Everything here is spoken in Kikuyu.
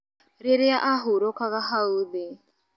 Rĩria ahurũkaga hau thĩ